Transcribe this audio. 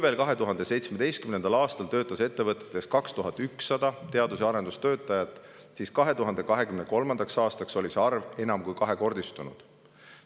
Veel 2017. aastal töötas ettevõtetes 2100 teadus- ja arendustöötajat, aga 2023. aastaks oli see arv enam kui kahekordistunud.